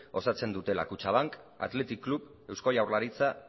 osatzen dutela kutxabank athletic club eusko jaurlaritza